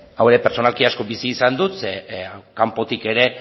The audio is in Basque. hau pertsonalki asko bizi izan dut ze kanpotik ere